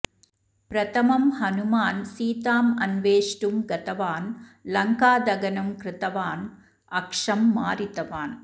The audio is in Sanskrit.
प्रथमम् हनुमान् सीताम् अन्वष्टुम् गतवान् लंकादहनम् कृतवान् अक्षम् मारितवान्